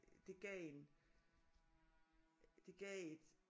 Det gav en det gav et